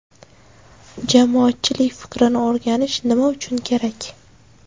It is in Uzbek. Jamoatchilik fikrini o‘rganish nima uchun kerak?